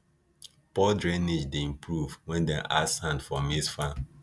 poor drainage dey improve when dem add sand for maize farm